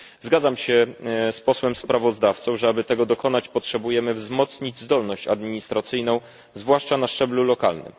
Zgadzam się z Posłem sprawozdawcą, że aby tego dokonać, potrzebujemy wzmocnić zdolność administracyjną, zwłaszcza na szczeblu lokalnym.